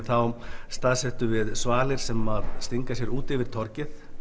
þá staðsettum við svalir sem stinga sér út yfir torgið